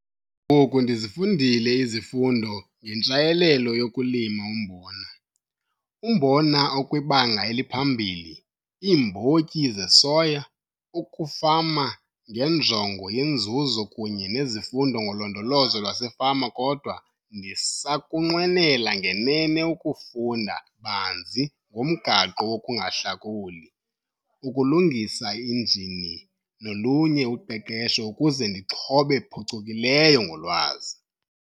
Ngoku ndizifundile izifundo ngeNtshayelelo yokuLima uMbona, uMbona okwibanga eliphambili, iiMbotyi zesoya, ukufama ngenjongo yeNzuzo kunye nezifundo ngoLondolozo lwaseFama kodwa ndisakunqwenela ngenene ukufunda banzi ngomgaqo wokungahlakuli, ukulungisa injini nolunye uqeqesho ukuze ndixhobe phucukileyo ngolwazi.